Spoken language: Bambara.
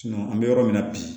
an bɛ yɔrɔ min na bi